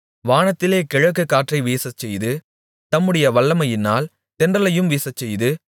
வானத்திலே கிழக்கு காற்றை வீசச்செய்து தம்முடைய வல்லமையினால் தென்றலையும் வீசச்செய்து